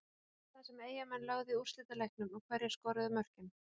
Hvaða lið var það sem Eyjamenn lögðu í úrslitaleiknum og hverjir skoruðu mörkin?